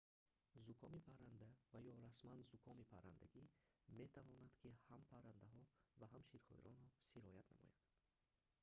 зукоми парранда ва ё расман зукоми паррандагӣ метавонад ки ҳам паррандаҳо ва ҳам ширхӯронро сироят намояд